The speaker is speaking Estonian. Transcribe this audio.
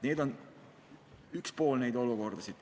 See on üks võimalus.